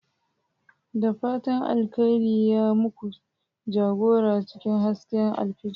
Da fatan alkhairi ya muku jagora cikin hasken alfijir.